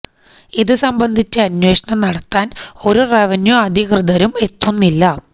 ഇതു സംബന്ധിച്ച് അന്വേഷണം നടത്താൻ ഒരു റവന്യൂ അധികൃതരും എത്തുന്നില്ല